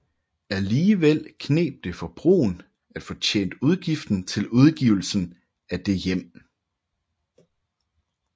Alligevel kneb det for Bruun at få tjent udgiften til udgivelsen af det hjem